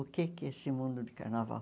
O que é que é esse mundo de carnaval?